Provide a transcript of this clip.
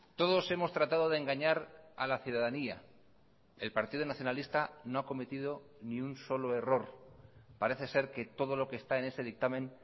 todos hemos tratado de engañar a la ciudadanía el partido nacionalista no ha cometido ni un solo error parece ser que todo lo que está en ese dictamen